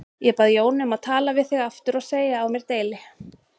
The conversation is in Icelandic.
Ég bað Jónu um að tala við þig aftur og segja á mér deili.